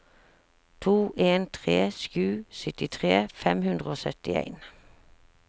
to en tre sju syttitre fem hundre og syttien